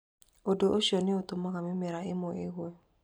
Ũndũ ũcio nĩ ũtũmaga mĩmera ĩmwe ĩgwe.